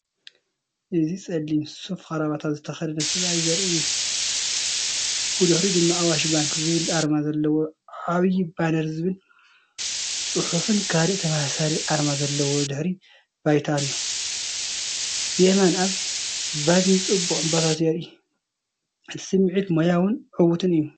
እዚ ጸሊም ሱፍ ክራቫታን ዝተከደነ ሰብኣይ ዘርኢ እዩ። ብድሕሪኡ ድማ"ኣዋሽ ባንኪ" ዝብል ኣርማ ዘለዎ ዓቢ ባነርን ዝብል ጽሑፍን ካልእ ተመሳሳሊ ኣርማ ዘለዎ ድሕረ ባይታ ኣሎ። ብየማን ኣብ ቫዝሊን ጽቡቕ ዕምባባታት ይርአ። እቲ ስሚዒት ሞያውን ዕዉትን እዩ።